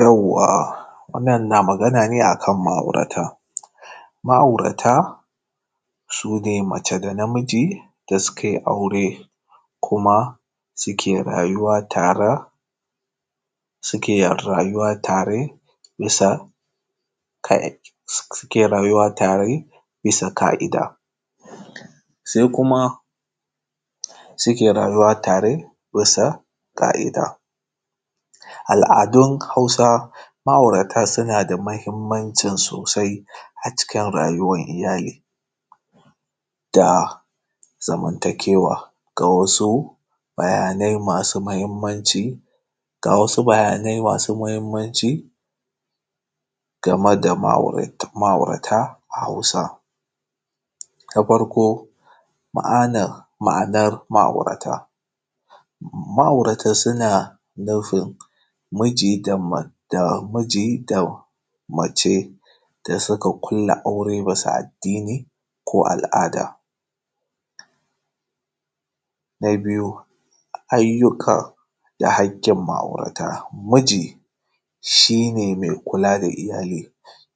Yawwa wannan na magana ne a kan ma’aurata, ma’aurata su ne mace da naamiji da sukai aure. Kuma suke rayyuwa tara, suke rayuwa tare bisa suke rayuwa tare ka’ida. Sai kuma suke rayuwa tare bisa ƙa’ida, al’adun Hausa ma’aurata suna da muhimnanci sosai a cikin rayuwar ilyali, da zaman takewa. Ga wasu bayanai masu muhimmanci ga wasu bayanai masu muhimmanci, game da ma’au ma’aurata a Hausa. Na farko ma’ana ma’anar ma’aurata, ma’aurata suna nufin miji da ma miji da miji da mace da suka ƙalla aure bisa addini ko al’ada. Na biyu ayyuka da haƙin ma’aurata. Miji shi ne mai kula da oyali,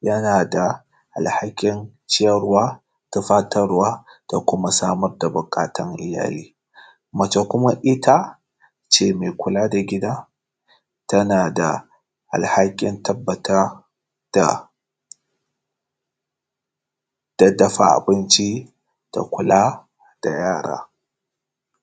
yana dea alhakin ciyarwa, tufatarwa da kuma samar da buƙatun iyali. Mace it ace mai kula da gida, tana da alhakin tabba da dafa abinci da kula da yara,